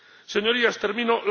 Señorías, termino